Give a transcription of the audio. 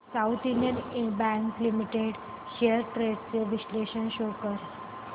south Indian bank limited shares trends चे विश्लेषण show कर